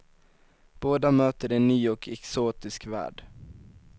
Båda möter en ny och exotisk värld.